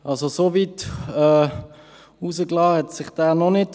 So weit hinausgelehnt hat sich dieser noch nicht.